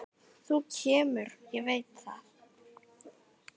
Þú kemur, ég veit það.